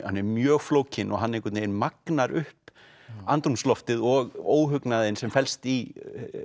hann er mjög flókinn og hann einhvern veginn magnar upp andrúmsloftið og óhugnaðinn sem felst í